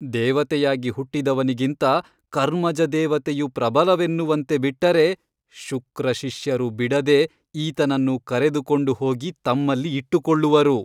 ದೇವತೆಯಾಗಿ ಹುಟ್ಟಿದವನಿಗಿಂತ ಕರ್ಮಜ ದೇವತೆಯು ಪ್ರಬಲವೆನ್ನುವಂತೆ ಬಿಟ್ಟರೆ ಶುಕ್ರಶಿಷ್ಯರು ಬಿಡದೆ ಈತನನ್ನು ಕರೆದುಕೊಂಡು ಹೋಗಿ ತಮ್ಮಲ್ಲಿ ಇಟ್ಟುಕೊಳ್ಳುವರು.